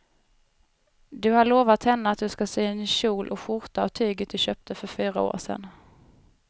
Du har lovat henne att du ska sy en kjol och skjorta av tyget du köpte för fyra år sedan.